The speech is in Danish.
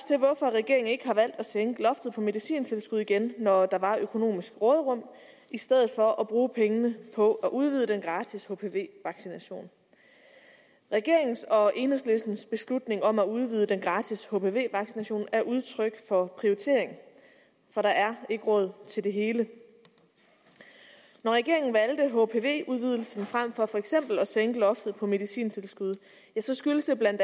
regeringen ikke har valgt at sænke loftet på medicintilskud igen når der var økonomisk råderum i stedet for at bruge pengene på at udvide den gratis hpv vaccination regeringens og enhedslistens beslutning om at udvide den gratis hpv vaccination er udtryk for prioritering for der er ikke råd til det hele når regeringen valgte hpv udvidelsen frem for for eksempel at sænke loftet på medicintilskud skyldtes det bla